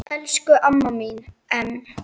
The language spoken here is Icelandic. Elsku amma mín Em.